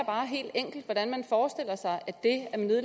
bare helt enkelt hvordan man forestiller sig